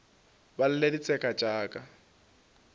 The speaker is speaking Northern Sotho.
ba lle ditseka tša ka